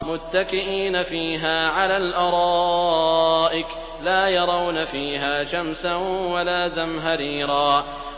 مُّتَّكِئِينَ فِيهَا عَلَى الْأَرَائِكِ ۖ لَا يَرَوْنَ فِيهَا شَمْسًا وَلَا زَمْهَرِيرًا